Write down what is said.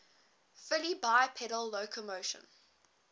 fully bipedal locomotion